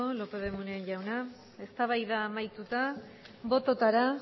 lópez de munain jauna eztabaida amaituta bototara